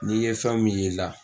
N'i ye fɛnw min ye la